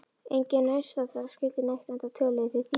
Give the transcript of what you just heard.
Enginn nærstaddra skildi neitt enda töluðu þeir þýsku.